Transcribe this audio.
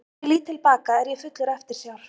Þegar ég lít til baka er ég fullur eftirsjár.